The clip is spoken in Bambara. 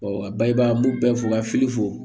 bayɛlɛma n b'u bɛɛ fo ka fili fo